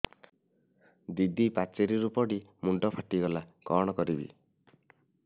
ଦିଦି ପାଚେରୀରୁ ପଡି ମୁଣ୍ଡ ଫାଟିଗଲା କଣ କରିବି